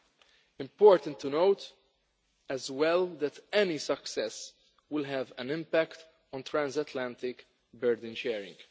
It is important to note as well that any success will have an impact on transatlantic burden sharing.